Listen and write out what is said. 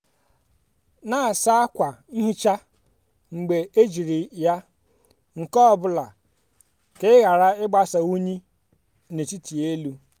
na-asa ákwà nhicha mgbe ejiri ya nke ọ bụla ka ị ghara ịgbasa unyi n'etiti elu.